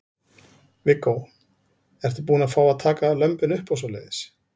Viggó: Ertu búin að fá að taka lömbin upp og svoleiðis?